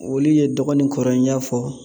Olu ye dɔgɔ ni kɔrɔ n y'a fɔ